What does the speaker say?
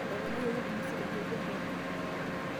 Etoponayioki pumusi tenkeju engari.